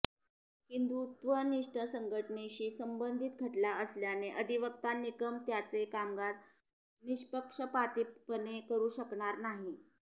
हिंदुत्वनिष्ठ संघटनेशी संबंधित खटला असल्याने अधिवक्ता निकम त्यांचे कामकाज निष्पक्षपातीपणे करू शकणार नाही